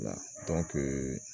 Wala dɔnke